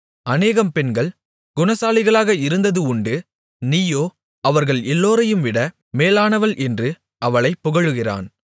அநேகம் பெண்கள் குணசாலிகளாக இருந்தது உண்டு நீயோ அவர்கள் எல்லோரையும்விட மேலானவள் என்று அவளைப் புகழுகிறான்